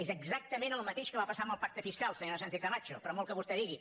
és exactament el mateix que va passar amb el pacte fiscal senyora sánchez camacho per molt que vostè digui